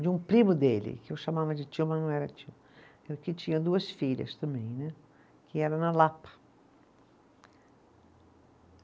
de um primo dele, que eu chamava de tio, mas não era tio, que tinha duas filhas também né, que era na Lapa.